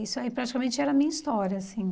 Isso aí praticamente era a minha história, assim.